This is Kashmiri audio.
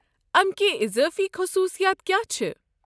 امِکۍ اضٲفی خصوُصیات کیٛاہ چھِ؟